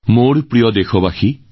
মোৰ প্ৰিয় দেশবাসী